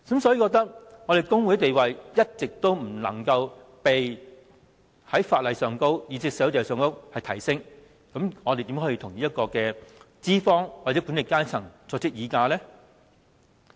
如果工會的地位在法例或社會上，一直無法提升，我們如何能與資方或管理階層議價呢？